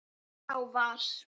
Sá var